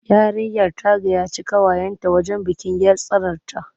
Yarinyar ta gayyaci ƙawayenta wajen bikin 'yar tsanarta.